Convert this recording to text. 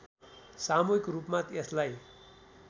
सामूहिक रूपमा यसलाई